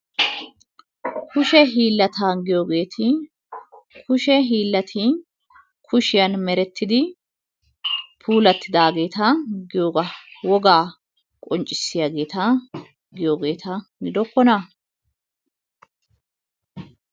kushe hiillata giyogeeti kushe hiillati kushiyan merettidi puulattidaageeta giyogaa wogaa qonccissiyageeta giyoogeeta gidokkonaa?